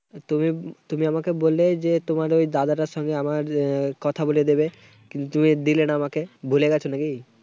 তুমি তুমি আমাকে বললে যে তোমার ওই দাদাটার সঙ্গে আমার কথা বলিয়ে দিবে। কিন্তু তুমি দিলে না আমাকে। ভুলে গেছো নাকি?